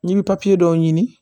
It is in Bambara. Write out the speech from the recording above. N'i bɛ dɔw ɲini